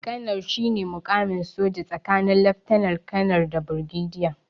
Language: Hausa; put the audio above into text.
Kanar shine muƙamin soja tsakanin laftanar- kanar da birgediya.